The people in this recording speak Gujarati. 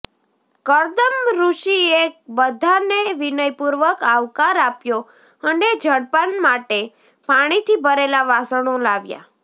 કર્દમઋષિએ બધાને વિનયપૂર્વક આવકાર આપ્યો અને જળપાન માટે પાણીથી ભરેલા વાસણો લાવ્યા